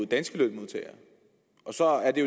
danske lønmodtagere så er det